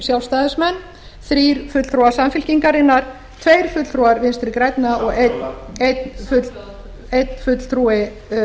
sjálfstæðismenn þrír fulltrúar samfylkingarinnar tveir fulltrúar vinstri grænna og samhljóða einn fulltrúi